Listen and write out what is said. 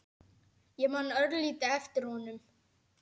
Ég man örlítið eftir honum.